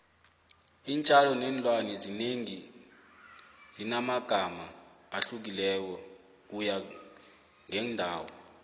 iintjalo neenlwane ezinengi zinamagama ahlukileko kuya ngeendawo